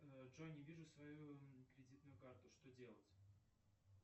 джой не вижу свою кредитную карту что делать